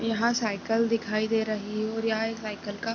यहाँ साइकिल दिखाई दे रही है और यहाँ एक साइकिल का--